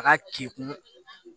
A ka kekun